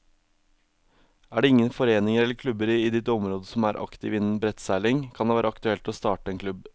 Er det ingen foreninger eller klubber i ditt område som er aktive innen brettseiling, kan det være aktuelt å starte en klubb.